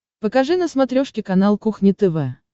покажи на смотрешке канал кухня тв